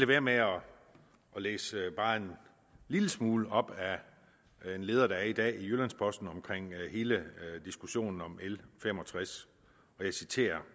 være med her at læse bare en lille smule op af en leder der er i dag i jyllands posten om hele diskussionen om l fem og tres og jeg citerer